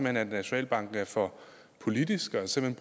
at nationalbanken er for politisk og simpelt